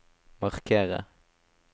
markere